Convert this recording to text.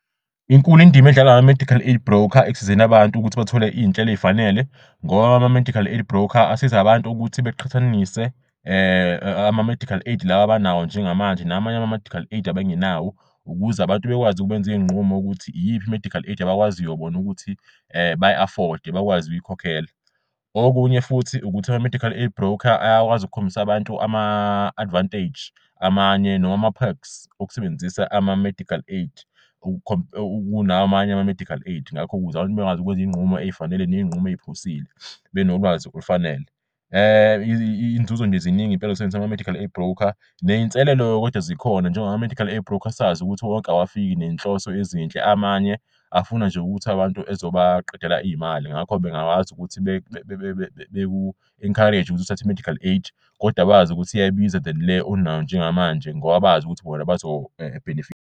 Inkulu indima edlalwa ama-medical aid broker ekusizeni abantu ukuthi bathole iy'nhlelo ey'fanele ngoba ama-medical aid broker asiz' abantu ukuthi beqhathanise ama-medical aid laba abanawo njengamanje namanye ama-medical aid abangenawo ukuze abantu bekwazi ukubenziy'nqumo ukuthi iyiphi i-medical aid abakwaziyo bon'ukuthi bayi-afford-de bakwazi ukuyikhokhela. Okunye futhi ukuthi ama-medical aid broker ayakwazi ukukhombisa abantu ama-advantage amanye noma ama-perks okusebenzisa ama-medical aid namanye ama-medical aid ngakho ukuze abantu bekwazi ukwenza iy'nqumo ey'fanele neynqumo ey'phusile benolwazi olufanele. Inzuzo nje ziningi impela zokusebenzisa ama-medical aid broker. Ney'nselelo-ke kodwa zikhona njengoba ama-medical aid broker sazi ukuthi wonke awafiki nenhloso ezinhle amanye afuna nje ukuthi abantu ezobaqedela iy'mali ngakho bengakwazi ukuthi beku-encourage-e ukuthi uthathe i-medical aid koda bazi ukuthi iyabiza than le onayo njengamanje ngoba bazi ukuthi bona bazobhenefitha.